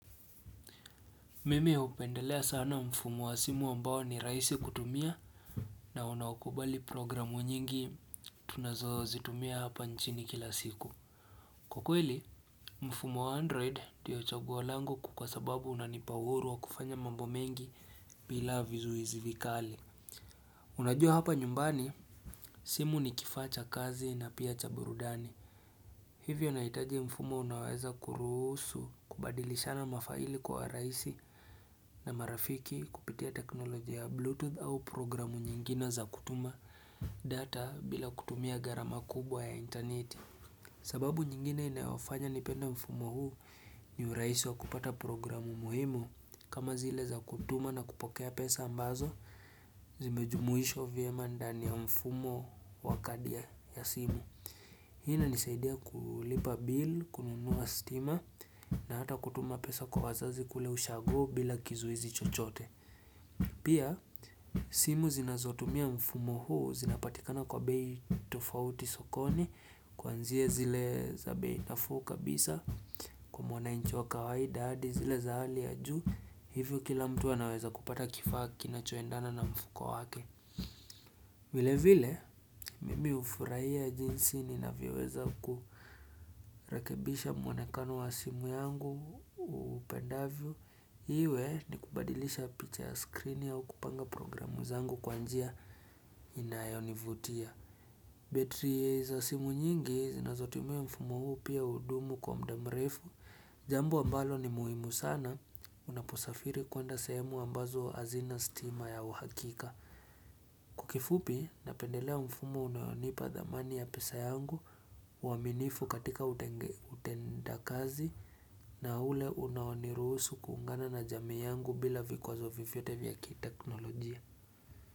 Mimi hupendelea sana mfumo wa simu ambao ni rahisi kutumia na unaokubali programu nyingi tunazo zitumia hapa nchini kila siku. Kwa kweli, mfumo wa android ndiyo chagua lango kuu kwa sababu unanipa uhuru wa kufanya mambo mengi bila vizuizi vikali. Unajua hapa nyumbani, simu ni kifaa cha kazi na pia cha burudani. Hivyo naitaje mfumo unaoweza kurusu kubadilishana mafaili kwa rahisi na marafiki kupitia teknolojia ya bluetooth au programu nyingine za kutuma data bila kutumia gharama kubwa ya intaneti. Sababu nyingine inayofanya nipendale mfumo huu ni urahisi wa kupata programu muhimu kama zile za kutuma na kupokea pesa ambazo zimejumuishwa vyema ndani ya mfumo wa kadi ya simu. Hii inanisaidia kulipa bill, kununuwa stima, na hata kutuma pesa kwa wazazi kule ushago bila kizuizi chochote. Pia, simu zinazotumia mfumo huu, zinapatikana kwa bei tofauti sokoni, kuanzia zile za bei nafuu kabisa, kwa mwananchi wa kawaida hadi, zile za hali ya juu, hivyo kila mtu anaweza kupata kifaa kinachoendana na mfuko wake. Vile vile mimi hufurahia jinsi ninavyoweza kurekebisha mwonekano wa simu yangu upendavyo Iwe ni kubadilisha picha ya skrini au kupanga programu zangu kwa njia inayonivutia betri za simu nyingi zinazotumia mfumo huu pia hudumu kwa muda mrefu Jambo ambalo ni muhimu sana unaposafiri kuenda sehemu ambazo hazina stima ya uhakika Kwa kifupi, napendelea mfumo unayonipa dhamani ya pesa yangu uaminifu katika utenda kazi na ule unayonirusu kuungana na jamii yangu bila vikwazo vyovyote vya kiteknolojia.